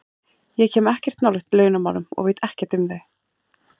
Ég kem ekkert nálægt launamálum og veit ekkert um þau.